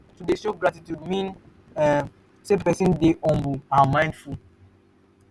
to de show gratitude mean um say persin de humble and mindful